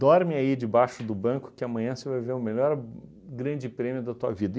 Dorme aí debaixo do banco que amanhã você vai ver o melhor Grande Prêmio da tua vida.